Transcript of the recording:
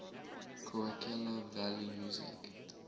coachella valley music